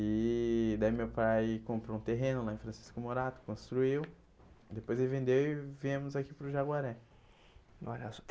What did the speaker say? E daí meu pai comprou um terreno lá em Francisco Morato, construiu, depois ele vendeu e viemos aqui para o Jaguaré.